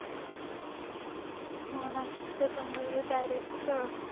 हो ना त्याच्यामुळे direct असं